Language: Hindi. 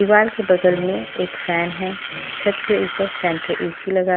दीवार के बगल में एक फैन है छत के ऊपर सेंट्रल ए_सी लगा है--